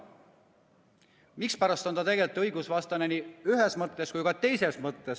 Mispärast see on tegelikult õigusvastane nii ühes mõttes kui ka teises mõttes?